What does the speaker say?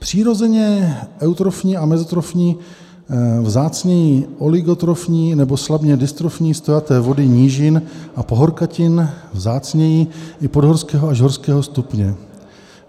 Přirozeně eutrofní a mezotrofní, vzácněji oligotrofní nebo slabě dystrofní stojaté vody nížin a pahorkatin, vzácněji i podhorského až horského stupně.